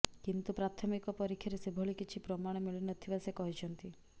କିନ୍ତୁ ପ୍ରାଥମିକ ପରୀକ୍ଷାରେ ସେଭଳି କିଛି ପ୍ରମାଣ ମିଳିନଥିବା ସେ କହିଛନ୍ତି